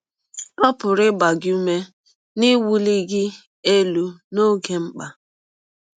Ọ pụrụ ịgba gị ụme na iwụli gị elụ n’ọge mkpa.